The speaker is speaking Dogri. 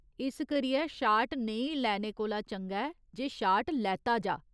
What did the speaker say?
इस करियै शाट नेईं लैने कोला चंगा ऐ जे शाट लैता जाऽ।